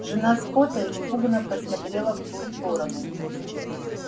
жена скотта испуганно посмотрела в ту сторону